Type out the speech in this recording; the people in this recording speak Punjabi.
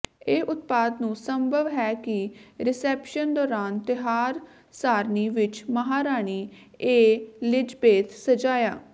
ਇਹ ਉਤਪਾਦ ਨੂੰ ਸੰਭਵ ਹੈ ਕਿ ਰਿਸੈਪਸ਼ਨ ਦੌਰਾਨ ਤਿਉਹਾਰ ਸਾਰਣੀ ਵਿੱਚ ਮਹਾਰਾਣੀ ਏਲਿਜ਼ਬੇਤ ਸਜਾਇਆ